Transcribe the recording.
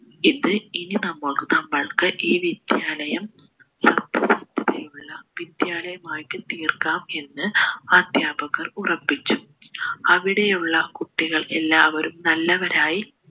ഇത് ഇനി നമ്മൾക് നമ്മൾക്ക് ഈ വിദ്യാലയം സത്യസന്ധതയുള്ള വിദ്യാലയമാക്കി തീർക്കാം എന്ന് അദ്ധ്യാപകർ ഉറപ്പിച്ചു അവിടെയുള്ള കുട്ടികൾ എല്ലാവരും നല്ലവരായി